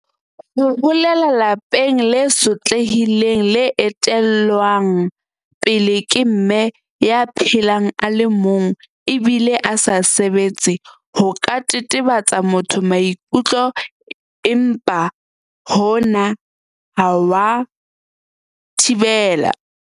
ho holela lelapeng le sotlehileng le etellwang pele ke Mme ya phelang a le mong ebile a sa sebetse ho ka tetebetsa motho maikutlo empa hona ha wa thibela